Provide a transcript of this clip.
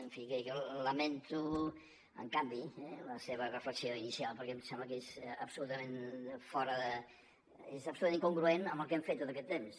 en fi jo lamento en canvi la seva reflexió inicial perquè em sembla que és absolutament incongruent amb el que hem fet tot aquest temps